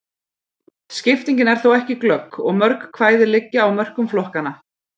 Skiptingin er þó ekki glögg, og mörg kvæði liggja á mörkum flokkanna.